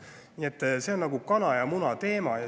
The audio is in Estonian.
Nii et see on nagu kana ja muna teema.